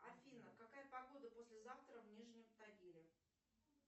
афина какая погода послезавтра в нижнем тагиле